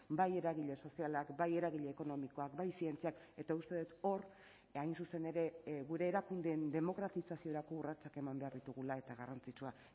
bai eragile sozialak bai eragile ekonomikoak bai zientziak eta uste dut hor hain zuzen ere gure erakundeen demokratizaziorako urratsak eman behar ditugula eta garrantzitsua